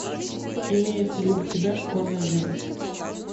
имеется ли у тебя школьная жизнь